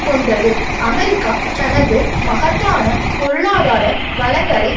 கொண்டது அமெரிக்கா தனது மகத்தான பொருளாதார வளங்களை